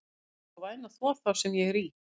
Viltu vera svo væn að þvo þá sem ég er í?